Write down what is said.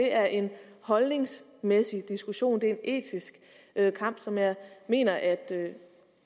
er en holdningsmæssig diskussion det er en etisk kamp som jeg mener at